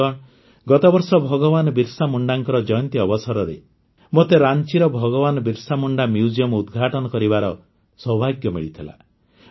ବନ୍ଧୁଗଣ ଗତବର୍ଷ ଭଗବାନ ବିର୍ସାମୁଣ୍ଡାଙ୍କ ଜୟନ୍ତୀ ଅବସରରେ ମୋତେ ରାଞ୍ଚିର ଭଗବାନ ବିର୍ସାମୁଣ୍ଡା ମ୍ୟୁଜିୟମ ଉଦ୍ଘାଟନ କରିବାର ସୌଭାଗ୍ୟ ମିଳିଥିଲା